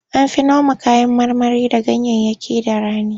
An fi noma kayan marmari da ganyayyaki da rani.